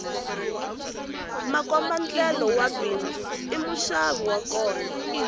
makombandlela wa bindzu i muxavi wa kona